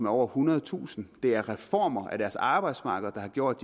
over ethundredetusind det er reformer af deres arbejdsmarked der har gjort